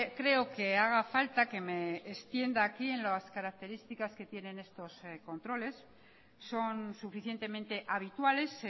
creo que haga falta que me extienda aquí en las características que tienen estos controles son suficientemente habituales